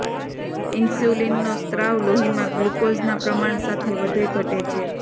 ઇન્સ્યુલિનનો સ્રાવ લોહીમાં ગ્લુકોઝના પ્રમાણ સાથે વધે ઘટે છે